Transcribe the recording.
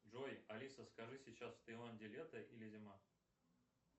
джой алиса скажи сейчас в таиланде лето или зима